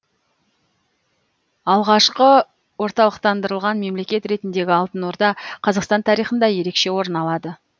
алғашқы орталықтандырылған мемлекет ретіндегі алтын орда қазақстан тарихында ерекше орын алады